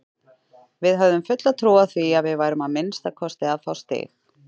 Við höfðum fulla trú á því að við værum að minnsta kosti að fá stig.